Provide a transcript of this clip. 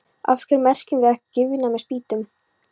Af hverju merkjum við ekki gryfjurnar með spýtum?